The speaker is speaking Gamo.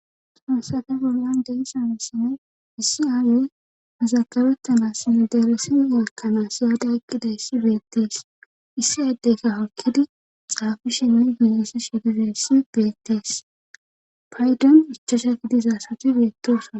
Hayssappe bollan deisanassinne issi aayey azagabettanassine deresin yeekkanaa iyaada eqqidayssi beettees issi addeyka hokkidi xaafushinni ginesse shegizayssi beettees paydon ichosha gi dizaasati beettooson